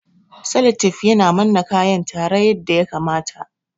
Saletif yana manna kayan tare yadda ya kamata